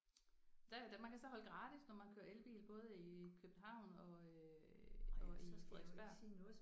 Der der man kan så holde gratis når man kører elbil både i København og og i Frederiksberg